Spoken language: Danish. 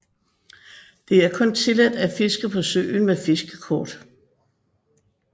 Det er kun tilladt at fiske på søen med fiskekort